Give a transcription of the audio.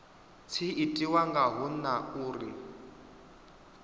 tshi itiwa ngaho na uri